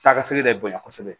Taa ka segi ka bonya kosɛbɛ